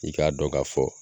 I k'a dɔ ka fɔ.